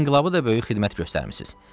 İnqilaba da böyük xidmət göstərmisiz.